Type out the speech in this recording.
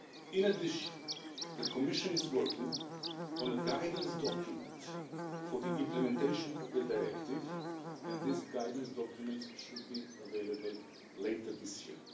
In addition, the Commission is working on a guidance document for the implementation of the Directive and this guidance document should be available later this year.